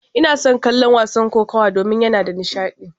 Ina son kallon wasan kokawa domin yana da nishadi.